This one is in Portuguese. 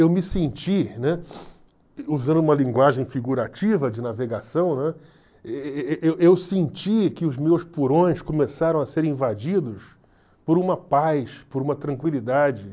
Eu me senti, né, usando uma linguagem figurativa de navegação, né, e e e eu eu senti que os meus purões começaram a ser invadidos por uma paz, por uma tranquilidade.